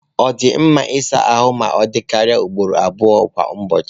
Ọ dị mma ịsa ahụ ma ọ dịkarịa ugboro abụọ kwa ụbọchị.